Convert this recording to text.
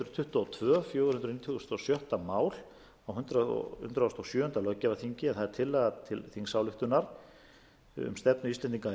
tuttugu og tvö fjögur hundruð nítugasta og sjötta mál á hundrað og sjöunda löggjafarþingi en það er tillaga til þingsályktunar um stefnu